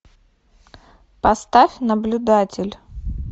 поставь наблюдатель